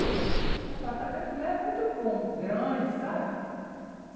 O apartamento lá é muito bom, grande, sabe?